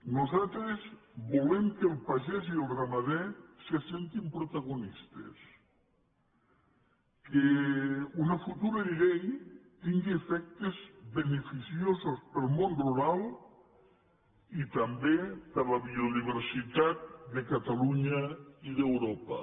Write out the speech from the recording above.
nosaltres volem que el pagès i el ramader se sentin protagonistes que una futura llei tingui efectes beneficiosos per al món rural i també per a la biodiversitat de catalunya i d’europa